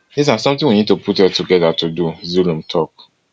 dis na someting we need to put head togeda to do zulum tok